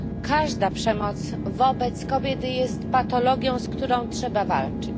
Każda przemoc wobec kobiety jest patologią, z którą trzeba walczyć.